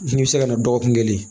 N'i bɛ se ka na dɔgɔkun kelen